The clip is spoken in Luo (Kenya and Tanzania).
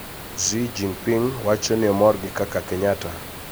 Xi Jinping wacho ni omor gi kaka Kenyatta